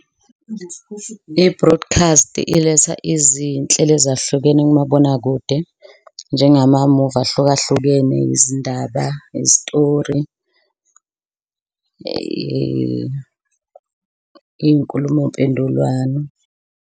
I-broadcast iletha izinhlelo ezahlukene kumabonakude njenga mamuvi ahlukahlukene, izindaba, izitori, iy'nkulumo mpendulwano.